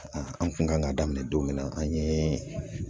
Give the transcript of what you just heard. an kun kan ka daminɛ don min na an yee